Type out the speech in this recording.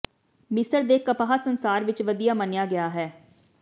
ਮਿਸਰ ਦੇ ਕਪਾਹ ਸੰਸਾਰ ਵਿੱਚ ਵਧੀਆ ਮੰਨਿਆ ਗਿਆ ਹੈ